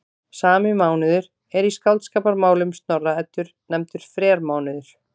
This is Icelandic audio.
Sami mánuður er í Skáldskaparmálum Snorra-Eddu nefndur frermánuður.